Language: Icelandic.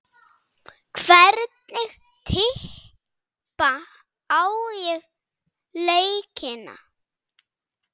Hvernig tippa ég á leikina?